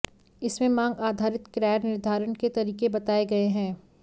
इसमें मांग आधारित किराया निर्धारण के तरीके बताए गए हैं